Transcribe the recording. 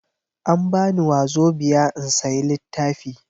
An bani Wazobiya in sayi littafi.